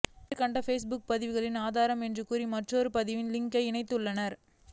மேற்கண்ட ஃபேஸ்புக் பதிவுகளில் ஆதாரம் என்று கூறி மற்றொரு பதிவின் லிங்கை இணைத்துள்ளனர்